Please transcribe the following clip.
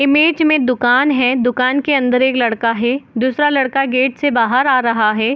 Image में दुकान है दुकान के अंदर एक लड़का है दूसरा लड़का गेट से बाहर आ रहा है ।